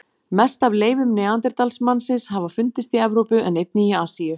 Mest af leifum neanderdalsmannsins hafa fundist í Evrópu en einnig í Asíu.